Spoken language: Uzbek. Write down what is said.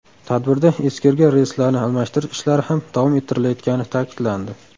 Tadbirda eskirgan relslarni almashtirish ishlari ham davom ettirilayotgani ta’kidlandi.